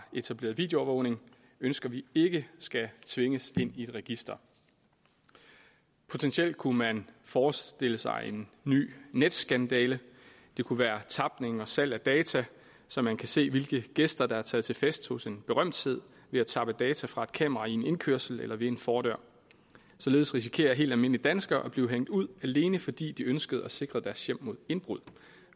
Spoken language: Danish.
etableret videoovervågning ønsker vi ikke skal tvinges ind i et register potentielt kunne man forestille sig en ny netsskandale det kunne være tapning og salg af data så man kan se hvilke gæster der er taget til fest hos en berømthed ved at tappe data fra et kamera i en indkørsel eller ved en fordør således risikerer helt almindelige danskere at blive hængt ud alene fordi de ønskede at sikre deres hjem mod indbrud